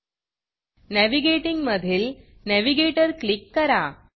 navigating मधील Navigatorनॅविगेटर click करा